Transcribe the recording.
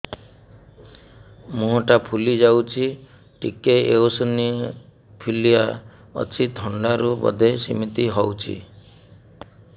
ମୁହଁ ଟା ଫୁଲି ଯାଉଛି ଟିକେ ଏଓସିନୋଫିଲିଆ ଅଛି ଥଣ୍ଡା ରୁ ବଧେ ସିମିତି ହଉଚି